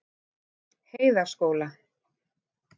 Heiðaskóla